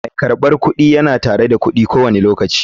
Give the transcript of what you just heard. Mai karbar kudi yana tare da kudi ko wani lokaci.